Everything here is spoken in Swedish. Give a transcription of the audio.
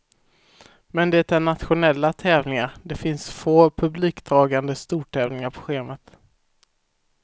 Men det är nationella tävlingar, det finns få publikdragande stortävlingar på schemat.